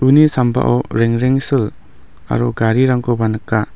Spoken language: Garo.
uni sambao rengrengsil aro garirangkoba nika.